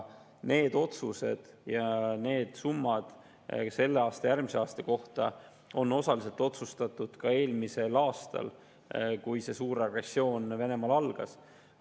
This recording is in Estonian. Need otsused ja summad järgmise aasta kohta on osaliselt otsustatud ka eelmisel aastal, kui see suur agressioon algas.